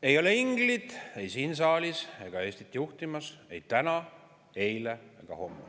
Ei ole ingleid ei siin saalis ega Eestit juhtimas – ei täna, eile ega homme.